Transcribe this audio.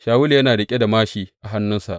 Shawulu yana riƙe da māshi a hannunsa.